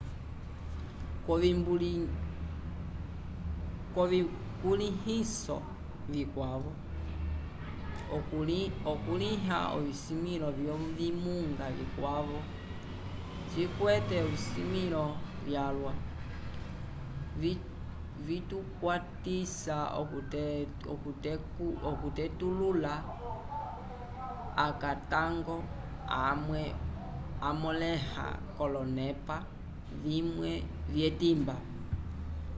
k'ovikulĩhiso vikwavo okukulĩha ovisimĩlo vyovimunga vikwavo cikwete esilivilo lyalwa vitukwatisa okutetulula akatango amwe amõleha k'olonepa vimwe vyetimba